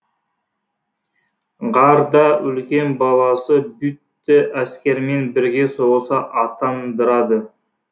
ғар да үлкен баласы бюдты әскермен бірге соғысқа аттандырады